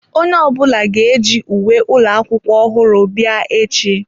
Onye ọbụla ga-eji uwe ụlọ akwụkwọ ọhụrụ bịa echi.